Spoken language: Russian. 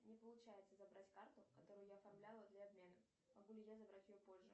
не получается забрать карту которую я оформляла для обмена могу ли я забрать ее позже